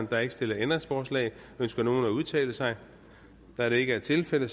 der er ikke stillet ændringsforslag ønsker nogen at udtale sig da det ikke er tilfældet